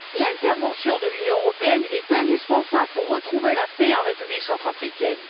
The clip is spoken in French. L'intervention de l'Union européenne est indispensable pour rétablir la paix en République centrafricaine.